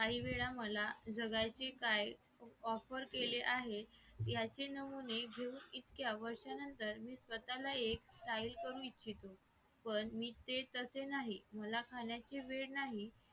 हम्म